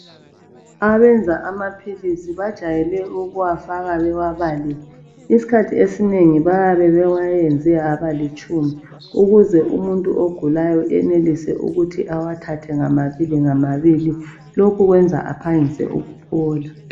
Abenza amaphilizi bajayele ukuwafaka bewabalile isikhathi esinengi bayabe bewayenze waba litshumi ukuze umuntu ogulayo eyenelise ukuthi ewathathe ngamabili ngamabili lokhu kwenza aphangise ukuphola.